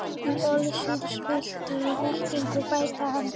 Í orðsins fyllstu merkingu, bætti hann við.